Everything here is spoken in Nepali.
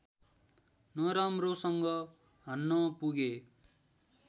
नराम्रोसँग हान्न पुगे